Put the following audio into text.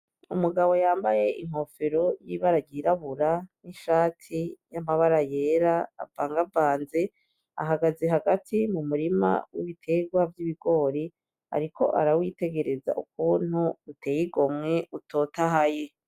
Umugabo yambaye inkofero y'ibararyirabura n'ishati y'amabara yera avangavanze ahagaze hagati mu murima w'ibiterwa vy'ibigori, ariko arawitegereza ukwuntu uteyigomwe utotahaye.